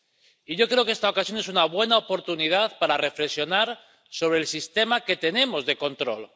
Y yo creo que esta ocasión es una buena oportunidad para reflexionar sobre el sistema que tenemos de control.